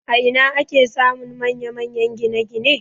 A ina ake samun manya-manyan gine-gine?